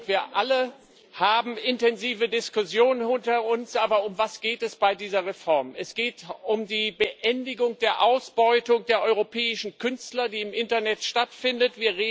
Wir alle haben intensive Diskussionen hinter uns, aber um was geht es bei dieser Reform? Es geht um die Beendigung der Ausbeutung der europäischen Künstler, die im Internet stattfindet.